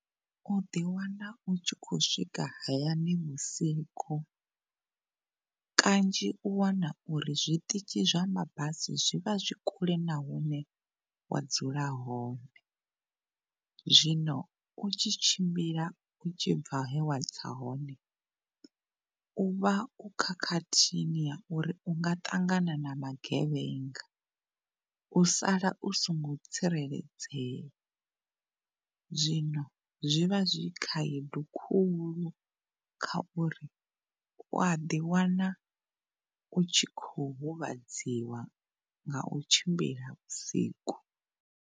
U ḓi wana u tshi kho swika hayani vhusiku kanzhi u wana uri zwiṱitshi zwa mabasi zwivha zwi kule na hune wa dzula hone, zwino u tshi tshimbila u tshibva he wa tsa hone, u vha u khakhathini ya uri u nga ṱangana na magevhenga u sala u si ngo tsireledzea zwino zwi vha zwi khaedu khulu kha uri uya ḓi wana u tshi kho huvhadziwa nga u tshimbila vhusiku.